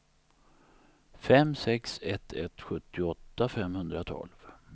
fem sex ett ett sjuttioåtta femhundratolv